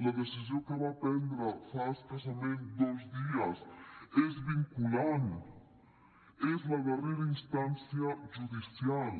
la decisió que va prendre fa escassament dos dies és vinculant és la darrera instància judicial